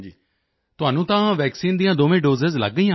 ਤੁਹਾਨੂੰ ਤਾਂ ਵੈਕਸੀਨ ਦੀਆਂ ਦੋਵੇਂ ਦੋਸੇ ਲਗ ਗਈਆਂ ਹੋਣਗੀਆਂ